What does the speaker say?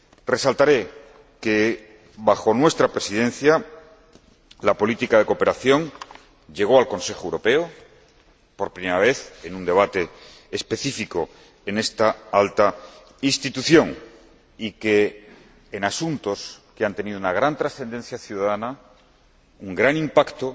Resaltaré que, bajo nuestra Presidencia, la política de cooperación llegó al Consejo Europeo por primera vez en un debate específico en esta alta Institución y que, en asuntos que han tenido una gran trascendencia ciudadana, un gran impacto